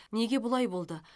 неге бұлай болды